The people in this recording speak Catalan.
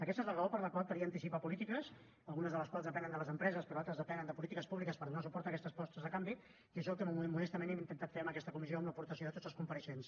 aquesta és la raó per la qual calia anticipar polítiques algunes de les quals depenen de les empreses però altres depenen de polítiques públiques per donar suport a aquestes propostes de canvi i això és el que modestament hem intentat fer en aquesta comissió amb l’aportació de tots els compareixents